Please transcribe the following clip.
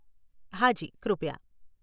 હાજી, કૃપયા.